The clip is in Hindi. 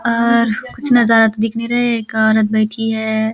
और कुछ नजारा तो दिख नहीं रहा है एक औरत बैठी हैं। .